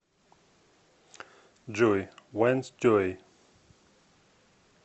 джой вэнс джой